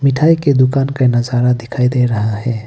मिठाई के दुकान का नजारा दिखाई दे रहा है।